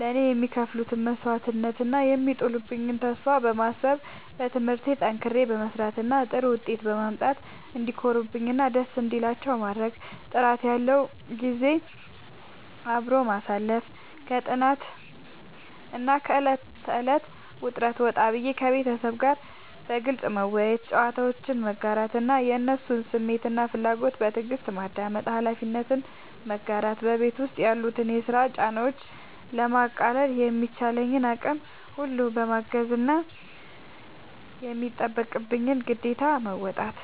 ለእኔ የሚከፍሉትን መስዋዕትነት እና የሚጥሉብኝን ተስፋ በማሰብ፣ በትምህርቴ ጠንክሬ በመስራት እና ጥሩ ውጤት በማምጣት እንዲኮሩብኝ እና ደስ እንዲላቸው ማድረግ። ጥራት ያለው ጊዜ አብሮ ማሳለፍ፦ ከጥናትና ከዕለት ተዕለት ውጥረት ወጣ ብዬ፣ ከቤተሰቤ ጋር በግልጽ መወያየት፣ ጨዋታዎችን መጋራት እና የእነሱን ስሜትና ፍላጎት በትዕግስት ማዳመጥ። ኃላፊነትን መጋራት፦ በቤት ውስጥ ያሉትን የስራ ጫናዎች ለማቃለል በሚቻለኝ አቅም ሁሉ ማገዝና የሚጠበቅብኝን ግዴታ መወጣት።